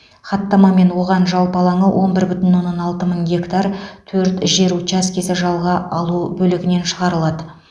хаттамамен оған жалпы алаңы он бір бүтін оннан алты мың гектар төрт жер учаскесі жалға алу бөлігінен шығарылады